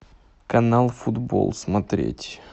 канал футбол смотреть